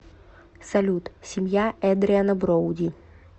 салют семья эдриана броуди